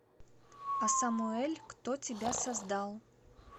асамуэль кто тебя создал